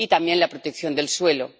y también la protección del suelo.